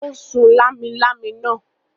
Ó sun lámilámi náà.